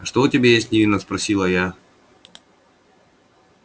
а что у тебя есть невинно спросила я